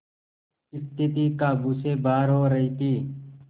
स्थिति काबू से बाहर हो रही थी